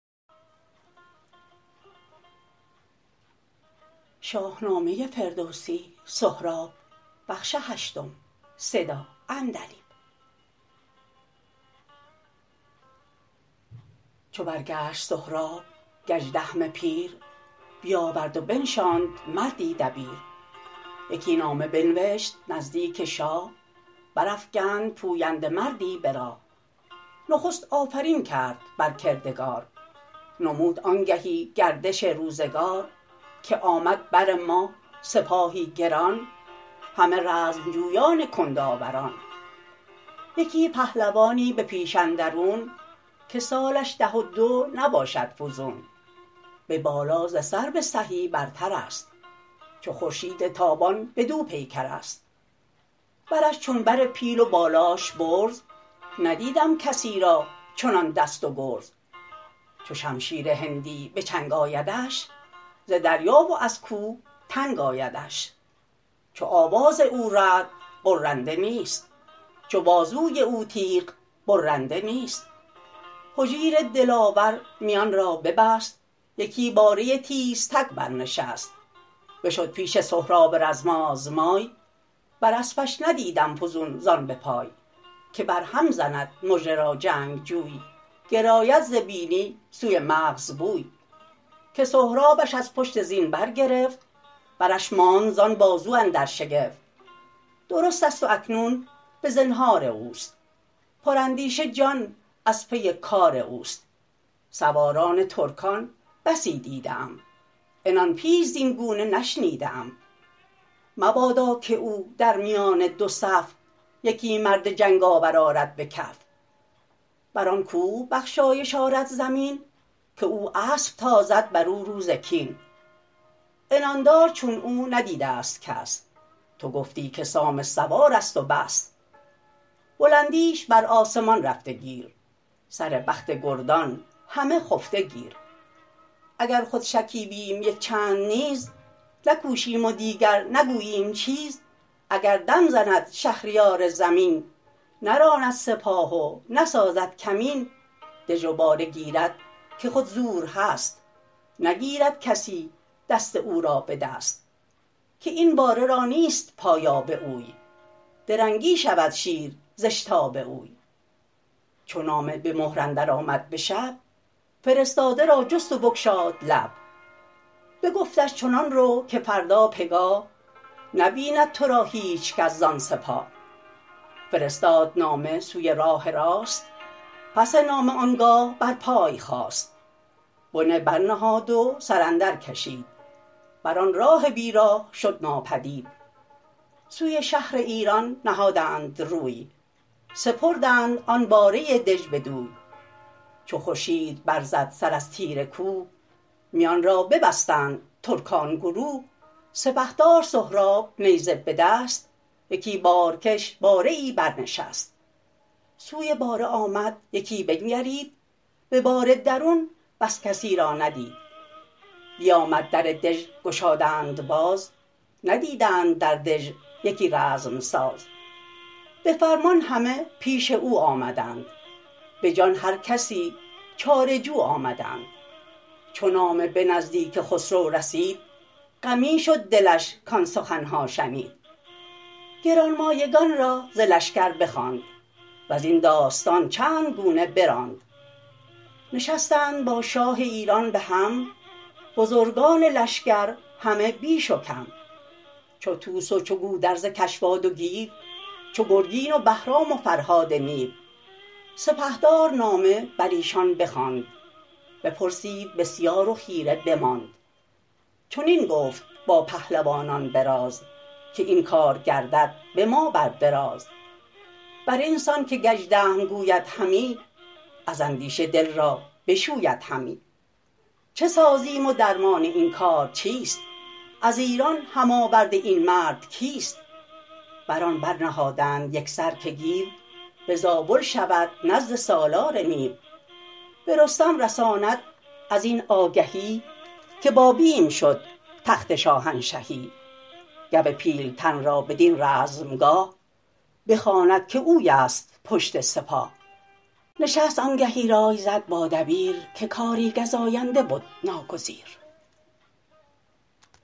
چو برگشت سهراب گژدهم پیر بیاورد و بنشاند مردی دبیر یکی نامه بنوشت نزدیک شاه برافگند پوینده مردی به راه نخست آفرین کرد بر کردگار نمود آنگهی گردش روزگار که آمد بر ما سپاهی گران همه رزم جویان کندآوران یکی پهلوانی به پیش اندرون که سالش ده و دو نباشد فزون به بالا ز سرو سهی برترست چو خورشید تابان به دو پیکرست برش چون بر پیل و بالاش برز ندیدم کسی را چنان دست و گرز چو شمشیر هندی به چنگ آیدش ز دریا و از کوه تنگ آیدش چو آواز او رعد غرنده نیست چو بازوی او تیغ برنده نیست هجیر دلاور میان را ببست یکی باره تیزتگ برنشست بشد پیش سهراب رزم آزمای بر اسپش ندیدم فزون زان به پای که بر هم زند مژه را جنگ جوی گراید ز بینی سوی مغز بوی که سهرابش از پشت زین برگرفت برش ماند زان بازو اندر شگفت درست ست و اکنون به زنهار اوست پراندیشه جان از پی کار اوست سواران ترکان بسی دیده ام عنان پیچ زین گونه نشنیده ام مبادا که او در میان دو صف یکی مرد جنگ آور آرد بکف بران کوه بخشایش آرد زمین که او اسپ تازد برو روز کین عنان دار چون او ندیدست کس تو گفتی که سام سوارست و بس بلندیش بر آسمان رفته گیر سر بخت گردان همه خفته گیر اگر خود شکیبیم یک چند نیز نکوشیم و دیگر نگوییم چیز اگر دم زند شهریار زمین نراند سپاه و نسازد کمین دژ و باره گیرد که خود زور هست نگیرد کسی دست او را به دست که این باره را نیست پایاب اوی درنگی شود شیر زاشتاب اوی چو نامه به مهر اندر آمد به شب فرستاده را جست و بگشاد لب بگفتش چنان رو که فردا پگاه نبیند ترا هیچکس زان سپاه فرستاد نامه سوی راه راست پس نامه آنگاه بر پای خاست بنه برنهاد و سراندر کشید بران راه بی راه شد ناپدید سوی شهر ایران نهادند روی سپردند آن باره دژ بدوی چو خورشید بر زد سر از تیره کوه میان را ببستند ترکان گروه سپهدار سهراب نیزه بدست یکی بارکش باره ای برنشست سوی باره آمد یکی بنگرید به باره درون بس کسی را ندید بیامد در دژ گشادند باز ندیدند در دژ یکی رزمساز به فرمان همه پیش او آمدند به جان هرکسی چاره جو آمدند چو نامه به نزدیک خسرو رسید غمی شد دلش کان سخنها شنید گرانمایگان را ز لشکر بخواند وزین داستان چندگونه براند نشستند با شاه ایران به هم بزرگان لشکر همه بیش و کم چو طوس و چو گودرز کشواد و گیو چو گرگین و بهرام و فرهاد نیو سپهدار نامه بر ایشان بخواند بپرسید بسیار و خیره بماند چنین گفت با پهلوانان براز که این کار گردد به ما بر دراز برین سان که گژدهم گوید همی از اندیشه دل را بشوید همی چه سازیم و درمان این کار چیست از ایران هم آورد این مرد کیست بر آن برنهادند یکسر که گیو به زابل شود نزد سالار نیو به رستم رساند از این آگهی که با بیم شد تخت شاهنشهی گو پیلتن را بدین رزمگاه بخواند که اویست پشت سپاه نشست آنگهی رای زد با دبیر که کاری گزاینده بد ناگزیر